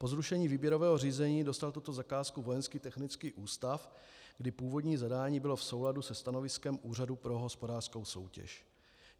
Po zrušení výběrového řízení dostal tuto zakázku Vojenský technický ústav, kdy původní zadání bylo v souladu se stanoviskem Úřadu pro hospodářskou soutěž.